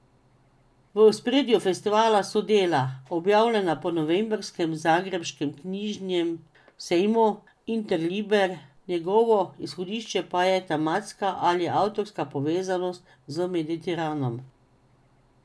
V ospredju festivala so dela, objavljena po novembrskem zagrebškem knjižnem sejmu Interliber, njegovo izhodišče pa je tematska ali avtorska povezanost z Mediteranom.